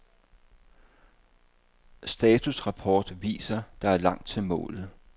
Statusrapport viser der er langt til målet.